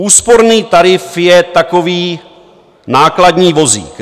Úsporný tarif je takový nákladní vozík.